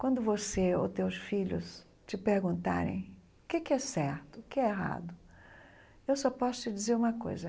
Quando você ou teus filhos te perguntarem o que que é certo, o que é errado, eu só posso te dizer uma coisa.